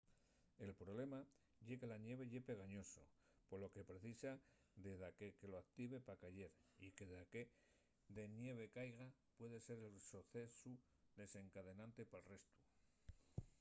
el problema ye que la ñeve ye pegañoso polo que precisa de daqué que lo active pa cayer y que daqué de ñeve caiga puede ser el socesu desencadenante pal restu